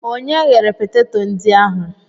Onye ghere peteto ndị ahụ?